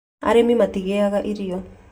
Arĩmi matingĩaga irio